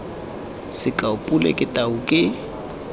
sekao pule ke tau ke